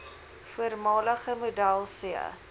voormalige model c